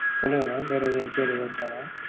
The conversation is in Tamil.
சொல்லுங்க mam வேற எதும் enquiry எதும் இருக்கா mam